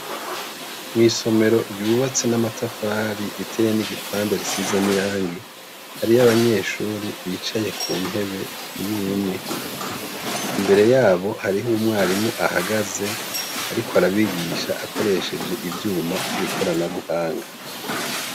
Mw'isomero ryubatse n'amatafari riteye n'igipande risize n'irangi, hariyo abanyeshure bicaye ku ntebe imwe imwe. Imbere yabo hariho umwarimu ahagaze ariko arabigisha akoresheje ivyuma vy'ikoranabuhanga.